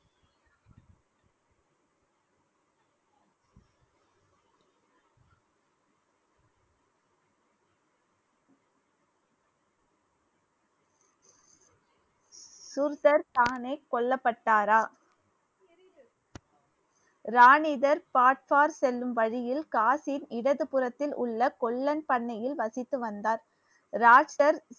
சூர்த்தர் தானே கொல்லப்பட்டாரா ராணிதர் செல்லும் வழியில் காசின் இடது புறத்தில் உள்ள கொல்லன் பண்ணையில் வசித்து வந்தார் ராஷ்டர்